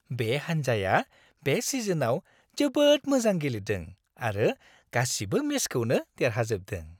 बे हान्जाया बे सिजनआव जोबोद मोजां गेलेदों आरो गासिबो मेचखौनो देरहाजोबदों।